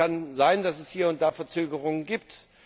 Ja, das kann sein, dass es hier und da Verzögerungen gibt.